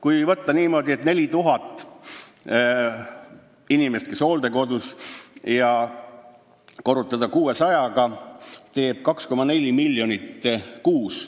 Kui võtta niimoodi, et 4000 inimest on hooldekodus, ja korrutada see arv 600-ga, siis see teeb 2,4 miljonit kuus.